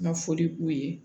Ma foli k'u ye